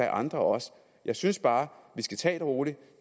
andre også jeg synes bare at vi skal tage det roligt